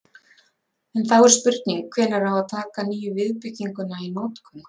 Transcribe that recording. En þá er spurning hvenær á að taka nýju viðbygginguna í notkun?